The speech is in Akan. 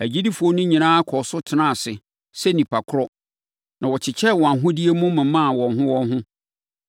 Agyidifoɔ no nyinaa kɔɔ so tenaa ase sɛ nnipa korɔ, na wɔkyekyɛɛ wɔn ahodeɛ mu momaa wɔn ho wɔn ho.